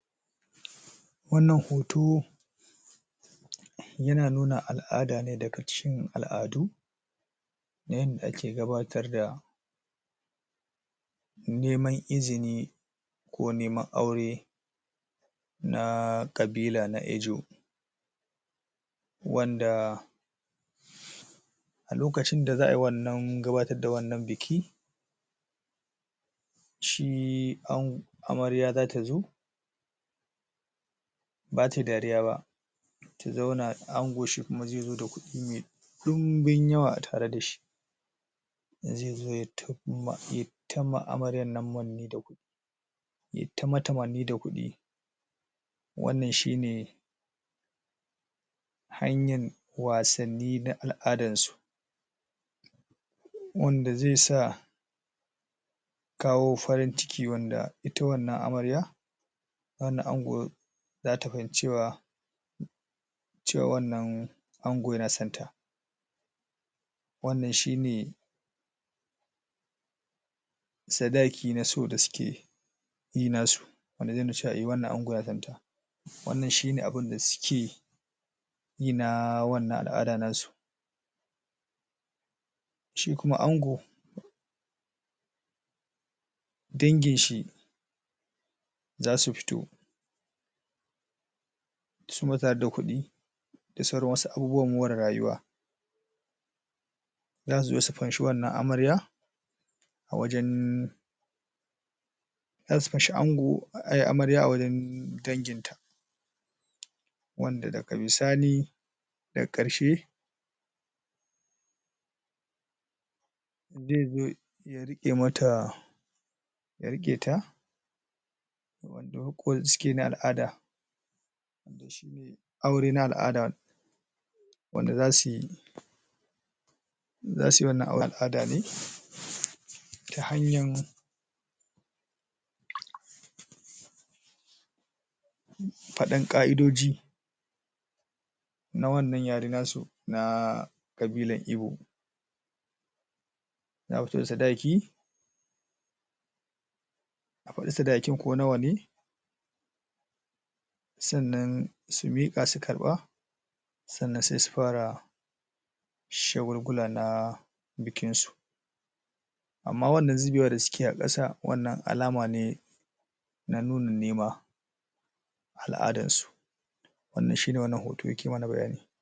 Wannan hoto yana nuna al'ada ne daga cikin al'adu na yanda ake gabatar da neman izini ko neman aure na ƙabila na Ejo wanda a lokacin da za ai wannan gabatar da wannan biki shi an amarya za ta zo ba tayi dariya ba ta zauna ango shi kuma zai zo da kuɗi me ɗinbin yawa a tare da shi zai zo yayi tama yayi tama amaryar nan manne da kudi yayi ta mata manne da kuɗi wannan shi ne hanyan wasanni na al'adansu wanda zai sa kawo farin ciki wanda ita wannan amarya wannan ango za ta fahimci cewa wannan ango yana sonta wannan shi ne sadaki na so da suke yi nasu wanda zai nuna cewa eh wannan ango na santa wannan shi ne abinda suke yi na wannan al'ada na su shi kuma ango danginshi za su fito su ma tare da kuɗi da sauran wasu abubuwan more rayuwa za su zo su fanshi wannan amarya a wajen za su fanshi ango a amarya a wajen danginta wanda daga bisani daga ƙarshe ya riƙe mata ya riƙe ta wanda riƙo suke na al'ada wanda shi ne aure na al'ada wanda za sui za suyi wannan al'ada ne um hanyan um fadan ƙa'idoji na wannan yare nasu na ƙabilar Ibo sadaki a faɗi sadakin ko nawa ne sannan su miƙa su ƙarɓa sannan sai su fara shagulgula na bikinsu amma wannan zubewar da suke a kasa wannan alama ne na nuna nema a al'adansu wannan shi ne wannan hoto yake mana bayani.